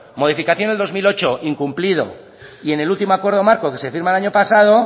modificación del dos mil ocho incumplido y en el último acuerdo marco que se firma el año pasado